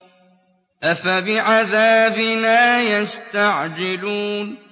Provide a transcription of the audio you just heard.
أَفَبِعَذَابِنَا يَسْتَعْجِلُونَ